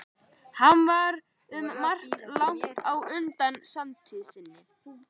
Hann var um margt langt á undan samtíð sinni.